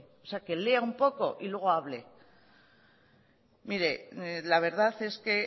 o sea que lea un poco y luego hable mire la verdad es que